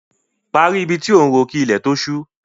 Parí ibi tí ò ń ro kí ilẹ̀ tó ṣú!